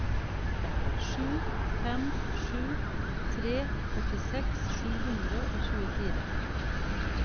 sju fem sju tre førtiseks sju hundre og tjuefire